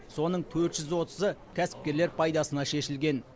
соның төрт жүз отызы кәсіпкерлер пайдасына шешілген